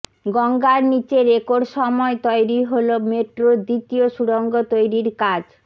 গঙ্গার নিচে রেকর্ড সময় তৈরি হল মেট্রোর দ্বিতীয় সুড়ঙ্গ তৈরির কাজ